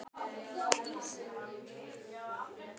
Báðir verið í verkfræði, haldið síðan áfram utan til framhaldsnáms.